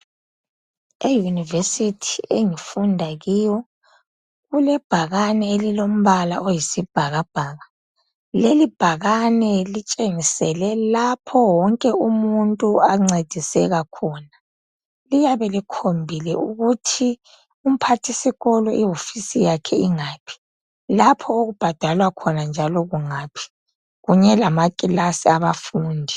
Eyunivesithi engifunda kiyo kulebhakane elilombala oyisibhakabhaka. Lelibhakane litshengisele lapho wonke umuntu ancediseka khona. Liyabe likhombile ukuthi umphathisikolo iwofisi yakhe ingaphi, lapho okubhadalwa khona njalo kungaphi kanye lamakilasi abafundi.